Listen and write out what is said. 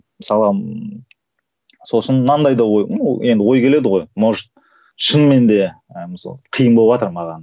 мысалға сосын мынандай да ой ну ол енді ой келеді ғой может шынымен де ы мысалы қиын боватыр маған